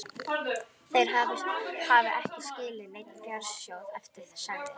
Þeir hafi ekki skilið neinn fjársjóð eftir, sagði